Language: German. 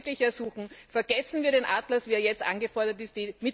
Ich darf Sie wirklich ersuchen Vergessen wir den Atlas, wie er jetzt angefordert ist.